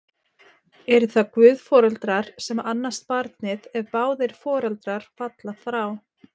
Eru það guðforeldrar sem annast barnið, ef báðir foreldrar falla frá?